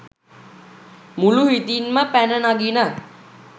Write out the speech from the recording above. මුළු හිතින්ම පැන නගින